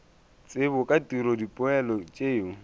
tsebo ka tiro dipoelo tšeo